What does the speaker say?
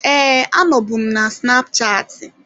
Ee, anọbu m na snapchatị.